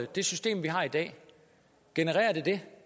det system vi har i dag dette